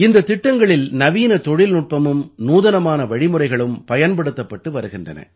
இந்தத் திட்டங்களில் நவீன தொழில்நுட்பமும் நூதனமான வழிமுறைகளும் பயன்படுத்தப்பட்டு வருகின்றன